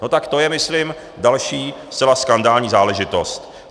No tak to je, myslím, další zcela skandální záležitost.